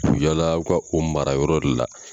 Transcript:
U bi yaala u ka o mara yɔrɔw de la.